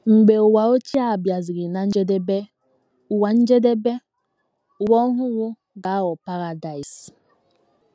Mgbe ụwa ochie a bịasịrị ná njedebe, ụwa njedebe, ụwa ọhụrụ ga - aghọ paradaịs